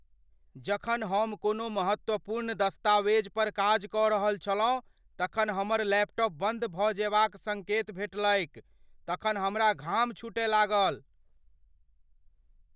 जखन हम कोनो महत्वपूर्ण दस्तावेज पर काज कऽ रहल छलहुँ तखन हमर लैपटॉप बंद भऽ जयबाक संकेत भेटलैक तखन हमरा घाम छुटए लागल।